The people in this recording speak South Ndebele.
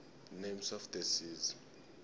names of the seas